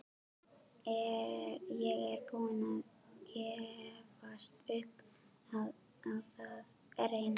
Ég er búinn að gefast upp á að reyna